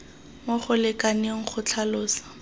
mo go lekaneng go tlhalosa